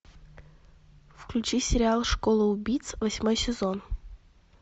включи сериал школа убийц восьмой сезон